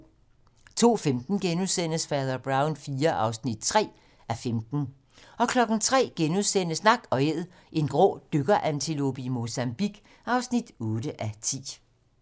02:05: Fader Brown IV (3:15)* 03:00: Nak & Æd - en grå dykkerantilope i Mozambique (8:10)*